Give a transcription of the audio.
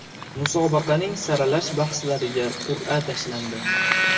Musobaqaning saralash bahslariga qur’a tashlandi.